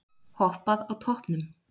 Hoppað á toppnum